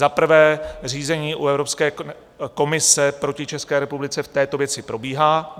Za prvé, řízení u Evropské komise proti České republice v této věci probíhá.